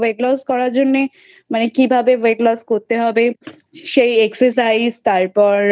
মানে Weight loss করার জন্যে কিভাবে Weight loss করতে হবে সেই Exercise তারপর